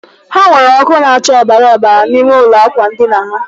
Ha nweere ọkụ na-acha ọbara ọbara n'ime ụlọ ákwà ndina ha?